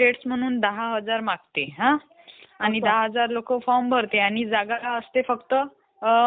जेंव्हा सीपीयू प्रक्रिया करत असते तेंव्हा तो डेटा तात्पुरत्या स्वरूपात रॅम मध्ये साठवून ठेवला जातो.